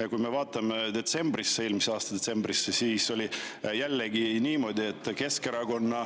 Ja kui me vaatame eelmise aasta detsembrit, siis näeme, et jällegi oli niimoodi, et Keskerakonna